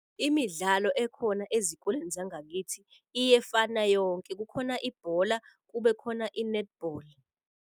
Imidlalo ekhona ezikolweni zangakithi iyefana yonke kukhona ibhola, kube khona i-netball.